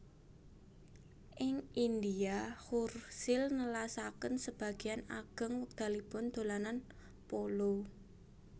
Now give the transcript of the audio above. Ing India Churchill nelasaken sebagéyan ageng wekdalipun dolanan polo